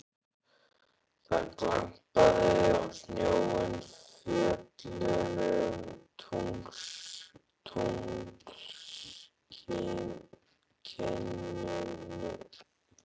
Það glampaði á snjóinn í fjöllunum í tunglskininu.